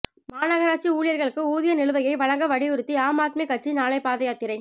மாநகராட்சி ஊழியா்களுக்கு ஊதிய நிலுவையை வழங்க வலுயுறுத்தி ஆம் ஆத்மிக் கட்சி நாளை பாதயாத்திரை